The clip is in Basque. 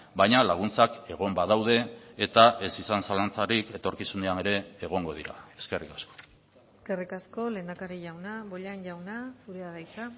baina laguntzak egon badaude eta ez izan zalantzarik etorkizunean ere egongo dira eskerrik asko eskerrik asko lehendakari jauna bollain jauna zurea da hitza